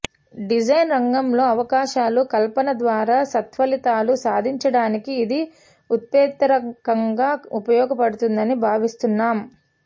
design రంగంలో అవకాశాల కల్పన ద్వారా సత్ఫలితాలు సాధించడానికి ఇది ఉత్ప్రేరకంగా ఉపయోగపడుతుందని భావిస్తున్నాం